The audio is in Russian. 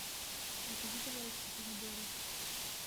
закажи пожалуйста помидоры